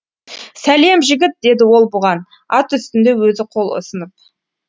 сәлем жігіт деді ол бұған ат үстінде өзі қол ұсынып